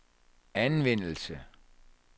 anvendelse